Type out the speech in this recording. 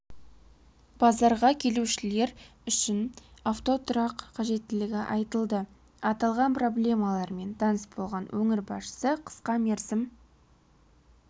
базарға келушілер үшін авто тұрақ қажеттілігі айтылды аталған проблемалармен таныс болған өңір басшысы қысқа мерзім